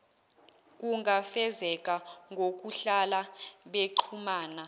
kungafezeka ngokuhlala bexhumana